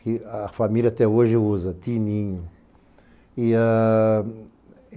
Que a família até hoje usa, Tininho. E a...